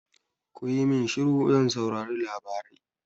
Kuyi min shiru zan saurari labarai!